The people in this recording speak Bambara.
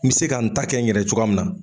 N me se ka n ta kɛ n yɛrɛ cogoya min na